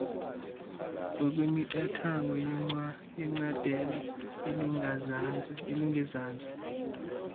ngokwemiqathango yecandelo elingezantsi